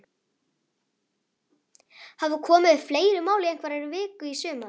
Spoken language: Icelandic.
Hafa komið upp fleiri mál í einhverri viku í sumar?